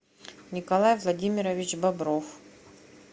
николай владимирович бобров